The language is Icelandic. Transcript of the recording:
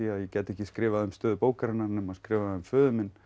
að ég gæti ekki skrifað um stöðu bókarinnar nema skrifa um föður minn